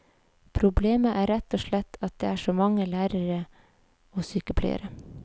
Problemet er rett og slett at det er så mange lærere og sykepleiere.